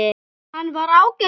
Hann var ágætur